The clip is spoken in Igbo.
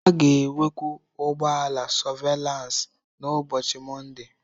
A ga-enwekwu ụgbọ ala sọvelansị n'ụbọchị Mọnde.